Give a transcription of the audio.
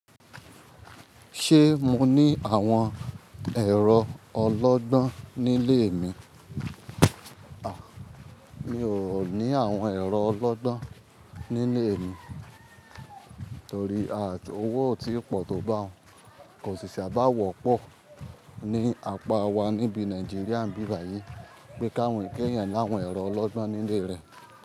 Ṣé mo ní àwọn ẹ̀rọ ọlọ́gbọ́n nílé mi? Mi ò ní àwọn ẹ̀rọ ọlọ́gbọ́n nílé mi torí owó ò tí pọ̀ tó bá un. Ko si saa bá wọ̀ pọ̀ ní apá wá níbi Nàìjíríà ibi báyìí pé ki èèyàn láwọn ẹ̀rọ ọlọ́gbọ́n nílé rẹ̀.